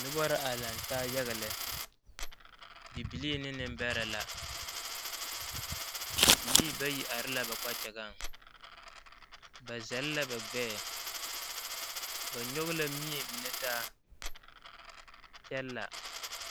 Noba la are laŋe taa yaga lɛ, bibilii ne nembeɛre la bibilii bayi are la ba kpakyagaŋ ba zel ba gbɛɛ ba nyɔge la mie mine taa kyɛ la.